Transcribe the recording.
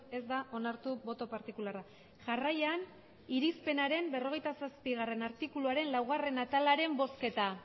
ez da onartu boto partikularra jarraian irizpenaren berrogeita zazpigarrena artikuluaren laugarrena atalaren bozketa